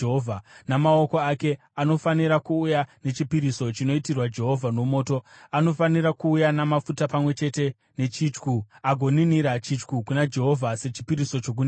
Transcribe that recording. Namaoko ake anofanira kuuya nechipiriso chinoitirwa Jehovha nomoto, anofanira kuuya namafuta pamwe chete nechityu, agoninira chityu kuna Jehovha sechipiriso chokuninira.